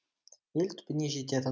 ел түбіне жететін